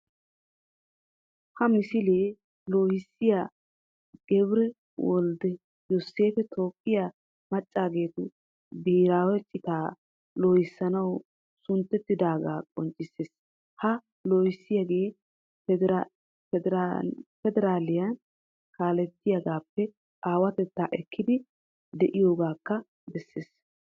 Ha misilee loohissiya gebire woldde yoseefi toophphiya maccaageetu biheeraawe citaa loohissanawu sunttettidoogaa qonccissees Ha loohissiyagee pedereeahiniya kaalettiyagaappe aawatetta ekkiiddi de"iyogaakka bessees